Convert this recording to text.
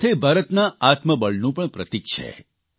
સાથે ભારતના આત્મબળનું પણ પ્રતિક છે